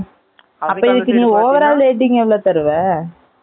அப்ப இதுக்கு நீங்க over ஆ rating எவ்வளவு தருவ?